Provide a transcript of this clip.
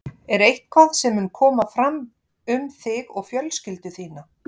Er eitthvað sem mun koma fram um þig og fjölskyldu þína?